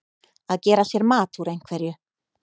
Að gera sér mat úr einhverju